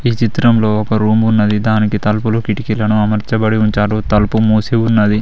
ఈ చిత్రంలో ఒక రూమ్ ఉన్నది దానికి తలుపులు కిటికీలను అమర్చబడి ఉంచారు తలుపు మూసి ఉన్నది.